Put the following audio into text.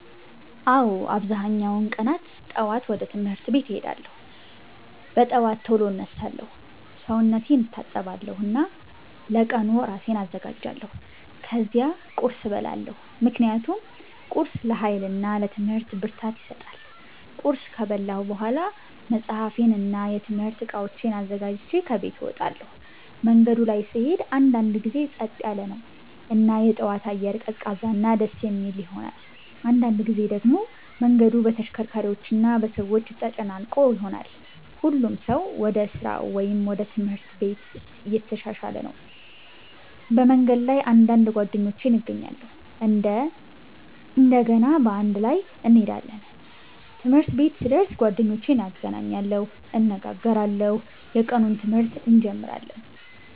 አዎ፣ አብዛኛውን ቀናት ጠዋት ወደ ትምህርት ቤት እሄዳለሁ። በጠዋት ቶሎ እነሳለሁ፣ ሰውነቴን እታጠባለሁ እና ለቀኑ እራሴን አዘጋጃለሁ። ከዚያ ቁርስ እበላለሁ ምክንያቱም ቁርስ ለኃይል እና ለትምህርት ብርታት ይሰጣል። ቁርስ ከበላሁ በኋላ መጽሐፌን እና የትምህርት እቃዎቼን አዘጋጅቼ ከቤት እወጣለሁ። መንገዱ ላይ ስሄድ አንዳንድ ጊዜ ጸጥ ያለ ነው እና የጠዋት አየር ቀዝቃዛ እና ደስ የሚል ይሆናል። አንዳንድ ጊዜ ደግሞ መንገዱ በተሽከርካሪዎች እና በሰዎች ተጨናነቀ ይሆናል፣ ሁሉም ሰው ወደ ስራ ወይም ወደ ትምህርት ቤት እየተሻሻለ ነው። በመንገድ ላይ አንዳንድ ጓደኞቼን እገናኛለሁ እና እንደገና በአንድ ላይ እንሄዳለን። ትምህርት ቤት ሲደርስ ጓደኞቼን እገናኛለሁ፣ እንነጋገራለን እና የቀኑን ትምህርት እንጀምራለን።